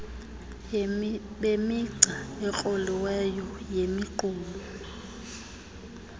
bemigca ekroliweyo yemiqulu